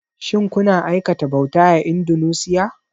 Shin kuna aikata bauta a Indunusiya?